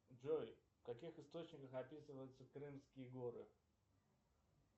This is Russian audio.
джой в каких источниках описываются крымские горы